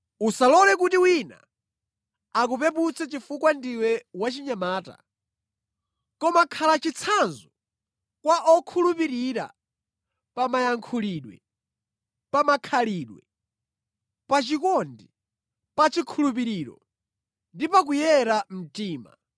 Usalole kuti wina akupeputse chifukwa ndiwe wachinyamata, koma khala chitsanzo kwa okhulupirira pa mayankhulidwe, pa makhalidwe, pa chikondi, pa chikhulupiriro ndi pa kuyera mtima.